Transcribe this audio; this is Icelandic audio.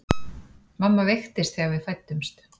Mamma veiktist þegar við fæddumst.